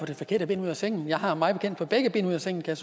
det forkerte ben ud af sengen jeg har mig bekendt fået begge ben ud af sengen kan